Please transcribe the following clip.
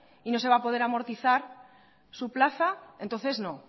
y no se va a poder amortizar su plaza entonces no